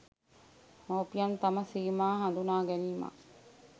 මවුපියන් තම සීමා හඳුනා ගැනීමත්